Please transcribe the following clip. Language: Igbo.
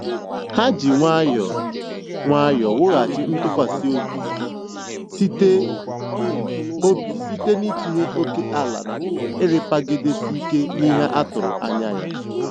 Ha ji nwayọọ nwayọọ wughachi ntụkwasị obi site obi site n'itinye ókèala na ịrapagidesi ike n'ihe a tụrụ anya ya.